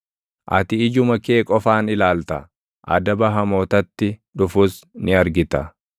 Ati ijuma kee qofaan ilaalta; adaba hamootatti dhufus ni argita.